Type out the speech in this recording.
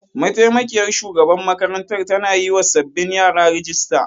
Mataimakiyar shugaban makarantar tana yiwa sabbin yara rijista.